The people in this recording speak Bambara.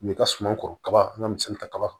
N bɛ ka suman kɔrɔba an ka misali ta kaba